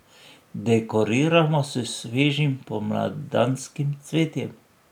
Dekoriramo s svežim pomladanskim cvetjem.